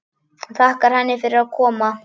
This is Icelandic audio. Og þakkar henni fyrir að koma.